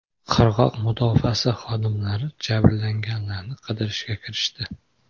Qirg‘oq mudofaasi xodimlari jabrlanganlarni qidirishga kirishdi.